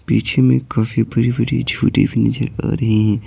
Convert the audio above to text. पीछे में काफी बड़ी-बड़ी झूटी भी नजर आ रही है।